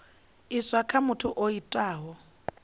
iswa kha muthu o itaho